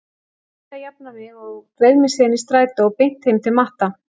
Ég reyndi að jafna mig og dreif mig síðan í strætó beint heim til Matta.